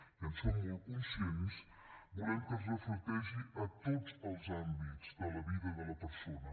i en som molt conscients volem que es reflecteixi a tots els àmbits de la vida de la persona